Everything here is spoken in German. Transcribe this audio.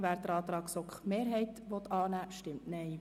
Wer dem Antrag der GSoK-Mehrheit den Vorzug gibt, stimmt Nein.